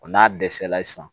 Wa n'a dɛsɛla sisan